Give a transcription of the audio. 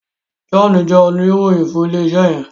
John jé Oníròyìn fún ilé iṣé yen.